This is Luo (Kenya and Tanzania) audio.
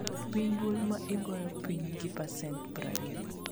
duoko piny dwol ma igoyo piny gi pasent 20